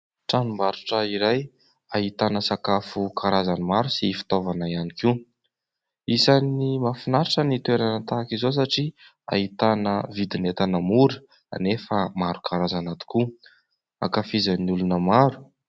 Tranombarotra iray ahitana sakafo karazany maro sy fitaovana ihany koa. Isan'ny mahafinaritra ny toerana tahak'izao satria ahitana vidin'entana mora nefa maro karazana tokoa, ankafizin'ny olona maro.